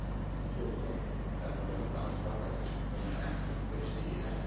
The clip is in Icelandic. Eins og ég segi, þetta eru bara stráklingar sem kunna ekkert fyrir sér í hernaði.